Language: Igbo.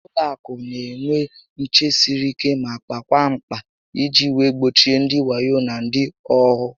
Ụlọ akụ n'enwe nché siri ike ma kpakwaa mkpa iji wee gbochie ndị wayo na ndị ohu